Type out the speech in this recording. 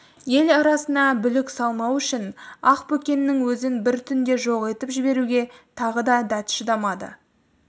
ел арасына бүлік салмау үшін ақбөкеннің өзін бір түнде жоқ етіп жіберуге тағы да дәті шыдамады